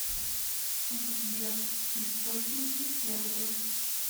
сбер источники сербы